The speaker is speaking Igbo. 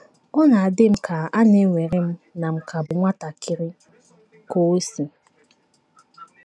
Ọ na - adị m ka à na - ewere m na m ka bụ nwatakịrị!, Kosi.